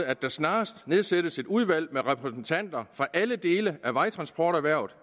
at der snarest nedsættes et udvalg med repræsentanter fra alle dele af vejtransporterhvervet